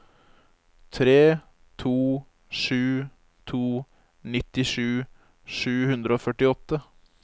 tre to sju to nittisju sju hundre og førtiåtte